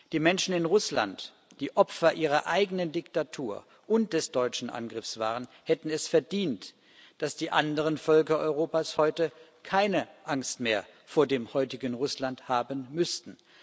Die Menschen in Russland, die Opfer ihrer eigenen Diktatur und des deutschen Angriffs waren, hätten es verdient, dass die anderen Völker Europas heute keine Angst mehr vor dem heutigen Russland haben müssten.